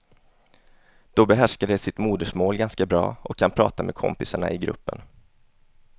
Då behärskar de sitt modersmål ganska bra och kan prata med kompisarna i gruppen.